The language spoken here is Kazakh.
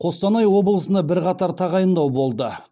қостанай облысында бірқатар тағайындау болды